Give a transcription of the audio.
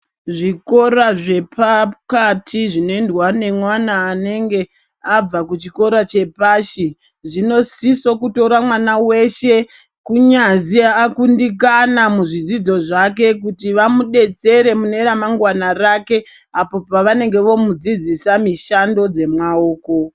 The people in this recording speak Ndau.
Zvikora zvepakati zvinoendwa nemwana anenge abva kuchikora chepashi zvinosiso kutora mwana weshe kunyazi akundikana muzvidzidzo zvake kuti vamudetsere mune ramangwana rake apo pavanenge vakumudzidzisa mishando dzemaoko.